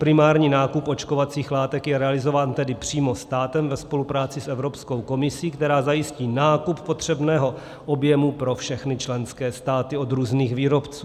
Primární nákup očkovacích látek je realizován tedy přímo státem ve spolupráci s Evropskou komisí, která zajistí nákup potřebného objemu pro všechny členské státy od různých výrobců.